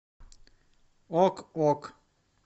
ок ок